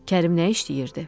Kərim nə işləyirdi?